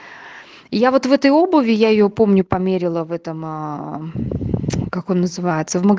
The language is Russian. я вот в этой обуви я её помню померила в этом как он называется в мага